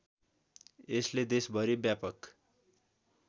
यसले देशभरी व्यापक